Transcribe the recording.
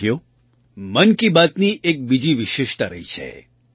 સાથીઓ મન કી બાતની એક બીજી વિશેષતા રહી છે